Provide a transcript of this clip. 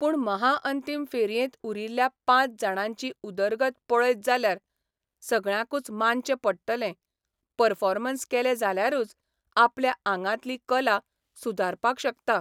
पूण महाअंतीम फेरयेंत उरिल्ल्या पांच जाणांची उदरगत पळयत जाल्यार सगळ्यांकूच मानचें पडटलें परफॉर्मन्स केले जाल्यारूच आपल्या आंगांतली कला सुदारपाक शकता.